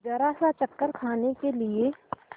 जरासा चक्कर खाने के लिए